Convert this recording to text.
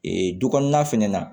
Ee du kɔnɔna fɛnɛ na